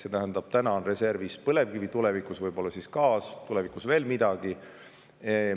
Praegu on reservis põlevkivi, tulevikus võib see olla gaas ja veel midagi.